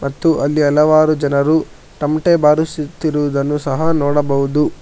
ಮತ್ತು ಅಲ್ಲಿ ಹಲವಾರು ಜನರು ತಮಟೆ ಬಾರಿಸುತ್ತಿರುವುದನ್ನು ಸಹ ನೋಡಬಹುದು.